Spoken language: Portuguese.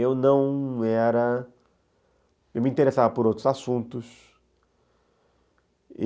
Eu não era... Eu me interessava por outros assuntos.